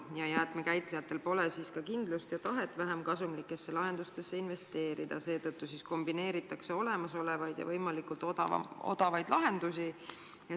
Ja jäätmekäitlejatel pole siis ka kindlust ja tahet vähemkasumlikesse lahendustesse investeerida, kombineeritakse olemasolevaid ja võimalikult odavaid lahendusi.